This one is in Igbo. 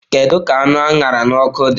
Kedu ka anụ a ṅara n'ọkụ dị?